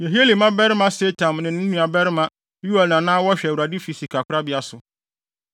Yehieli mmabarima Setam ne ne nuabarima Yoel na na wɔhwɛ Awurade fi sikakorabea so.